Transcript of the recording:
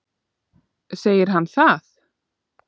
Segir hann það?